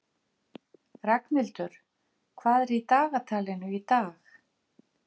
Ragnhildur, hvað er í dagatalinu í dag?